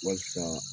Walasa